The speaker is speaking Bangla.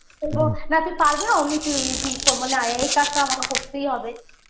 বলবো না তুই পারবি না অনেক easy করবো না এই কাজটা আমাকে করতেই হবে